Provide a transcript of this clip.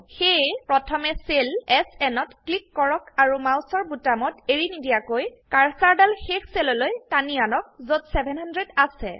সেয়ে প্ৰথমে cell SN ত ক্লিক কৰক আৰু মাউসৰ বোতামত এৰিনিদিয়াকৈ কাৰ্সাৰদাল শেষ সেললৈ টানি আনক যত 700 আছে